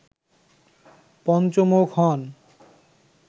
পঞ্চমুখ হন